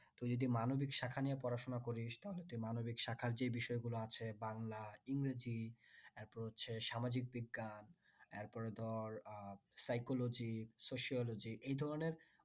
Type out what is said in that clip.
তুই যদি মানবিক শাখা নিয়ে পড়াশোনা করিস তাহলে তুই মানবিক শাখার যে বিষয় গুলো আছে বাংলা ইংরেজি এরপর হচ্ছে সামাজিক বিজ্ঞান এরপরে ধর উম psychologysociology এই ধরনের